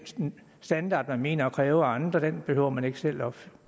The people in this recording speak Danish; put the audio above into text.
standard man mener at kunne kræve af andre behøver man ikke selv opfylde